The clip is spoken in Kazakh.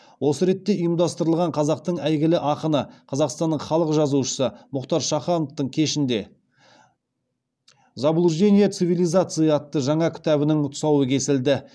осы ретте ұйымдастырылған қазақтың әйгілі ақыны қазақстанның халық жазушысы мұхтар шахановтың кешінде заблуждение цивализации атты жаңа кітабының тұсауы кесілді